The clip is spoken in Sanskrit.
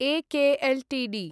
एके एल्टीडी